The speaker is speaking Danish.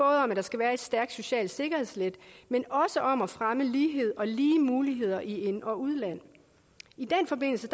at der skal være et stærkt socialt sikkerhedsnet men også om at fremme lighed og lige muligheder i ind og udland i den forbindelse